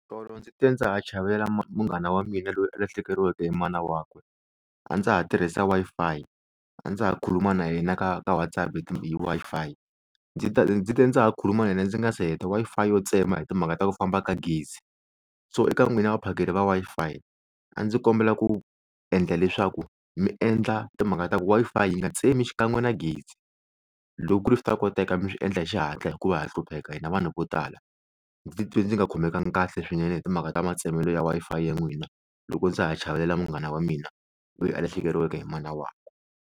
Tolo ndzi te ndza ha chavelela munghana wa mina loyi a lahlekeriweke hi mana wakwe a ndza ha tirhisa Wi-Fi a ndza ha khuluma na yena ka ka WhatsApp hi ti hi Wi-Fi ndzi te ndzi te ndza ha khuluma na yena ndzi nga se heta Wi-Fi yo tsema hi timhaka ta ku famba ka gezi so eka n'wina vaphakeri va Wi-Fi a ndzi kombela ku endla leswaku mi endla timhaka ta ku Wi-Fi yi nga tsemi xikan'we na gezi loko ku ri swi ta koteka mi swi endla hi xihatla hikuva ha hlupheka hina vanhu ko tala ndzi twe ndzi nga khomekanga kahle swinene hi timhaka ta matsemelo ya Wi-Fi ya n'wina loko ndza ha chavelela munghana wa mina loyi a lahlekeriwaka hi mana wakwe.